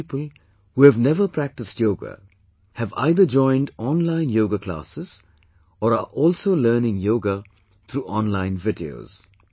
Many people, who have never practiced yoga, have either joined online yoga classes or are also learning yoga through online videos